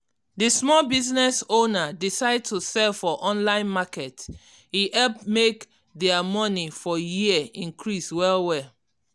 di small business owner decide to sell for online market e help make their money for year increase well well.